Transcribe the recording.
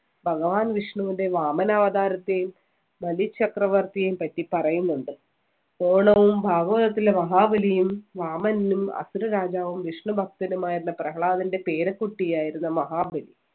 ഭഗവാൻ വിഷ്ണുവിന്‍റെ വാമന അവതാരത്തെയും ബലി ചക്രവർത്തിയേം പറ്റി പറയുന്നുണ്ട്. ഓണവും ഭാഗവതത്തിലെ മഹാബലിയും വാമനനും അസുര രാജാവും വിഷ്ണു ഭക്തനുമായിരുന്ന പ്രഹ്ളാദന്‍റെ പേരക്കുട്ടിയായിരുന്ന മഹാബലി.